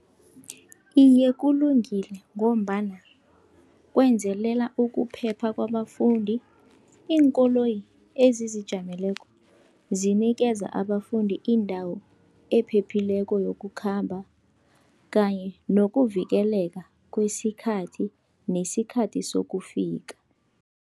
Iye, kulungile ngombana kwenzelela ukuphepha kwabafundi. Iinkoloyi ezizijameleko zinikeza abafundi indawo ephephileko yokukhamba kanye nokuvikeleka kwesikhathi, nesikhathi sokufika.